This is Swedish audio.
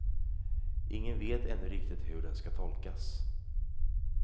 Ingen vet ännu riktigt hur den ska tolkas.